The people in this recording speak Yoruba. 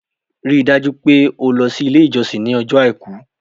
Ríi dájú wípé o lo sí Ilé ìjọsìn ní ọjọ́ Àìkú